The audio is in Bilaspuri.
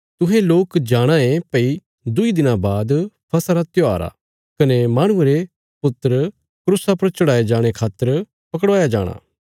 तुहें लोक जाणाँ ये भई दुईं दिनां बाद फसह रा त्योहार आ कने माहणुये रा पुत्र क्रूसा पर चढ़ाये जाणे खातर पकड़वाया जाणा